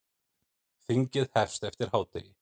Þingið hefst eftir hádegi.